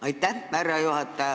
Aitäh, härra juhataja!